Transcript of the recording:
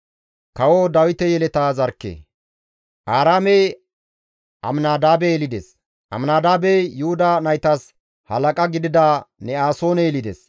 Aaraamey Aminadaabe yelides; Aminadaabey Yuhuda naytas halaqa gidida Ne7asoone yelides.